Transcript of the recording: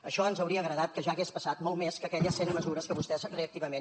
això ens hauria agradat que ja hagués passat molt més que aquelles cent mesures que vostès reactivament